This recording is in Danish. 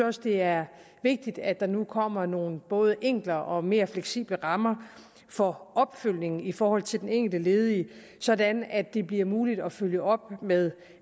også det er vigtigt at der nu kommer nogle både enklere og mere fleksible rammer for opfølgningen i forhold til den enkelte ledige sådan at det bliver muligt at følge op med